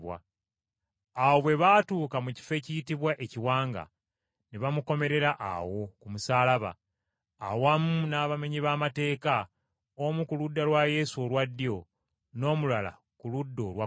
Awo bwe baatuuka mu kifo ekiyitibwa Ekiwanga, ne bamukomerera awo ku musaalaba, awamu n’abamenyi b’amateeka, omu ku ludda lwa Yesu olwa ddyo n’omulala ku ludda olwa kkono.